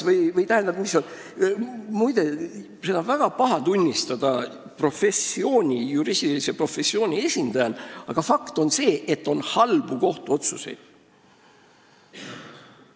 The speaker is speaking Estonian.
Seda on juriidilise professiooni esindajal väga paha tunnistada, aga fakt on see, et on halbu kohtuotsuseid.